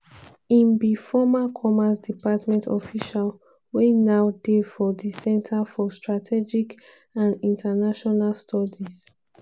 im be former commerce department official wey now dey for di center for strategic and international studies.